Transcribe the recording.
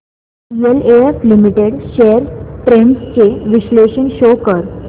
DLF limited shares trends चे विश्लेषण show कर